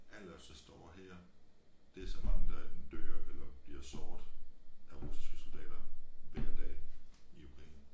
Alle os der står her det så mange der endten dør eller bliver såret af russiske soldater hver dag i Ukraine